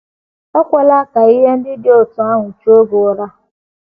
Ekwela ka ihe ndị dị otú ahụ chuo gị ụra.